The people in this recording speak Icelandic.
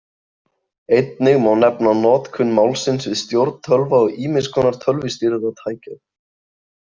Einnig má nefna notkun málsins við stjórn tölva og ýmiss konar tölvustýrðra tækja.